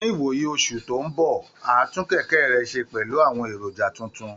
Ní ìwòyí oṣù tó ń bọ̀, á tún kẹ̀kẹ́ rẹ̀ ṣe pẹ̀lú àwọn èròjà tuntun